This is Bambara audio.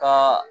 Ka